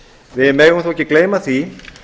við megum þó ekki gleyma því